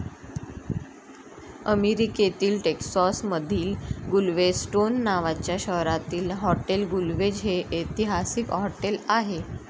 अमेरीकेतील टेक्सास मधिल गुलवेस्टोन नावाच्या शहरातील हॉटेल गुलवेझ हे ऐतिहसिक हॉटेल आहे.